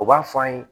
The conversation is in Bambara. U b'a fɔ an ye